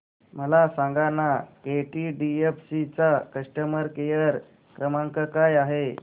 मला सांगाना केटीडीएफसी चा कस्टमर केअर क्रमांक काय आहे